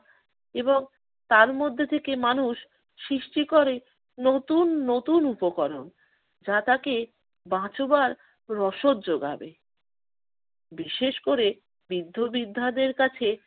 এবং তার মধ্যে থেকে মানুষ সৃষ্টি করে নতুন নতুন উপকরণ। যা তাকে বাঁচবার রসদ জোগাবে। বিশেষ করে বৃদ্ধ-বৃদ্ধাদের কাছে